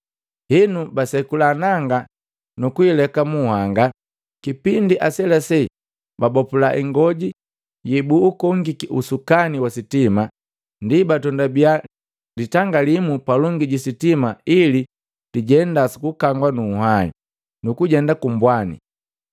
Henu basekula nanga nukuileka munhanga, kipindi aselase babopula ing'oji yebuukongiki usukani wa sitima, ndi batondibia litanga limu palongi ji sitima ili lijenda sukukangwa nu nhwahi, nukujenda ku mbwani.